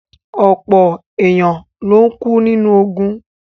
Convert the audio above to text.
Ọpọ̀ èèyàn ló kú nínú ogùn